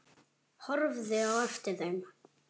Horfði á eftir þeim.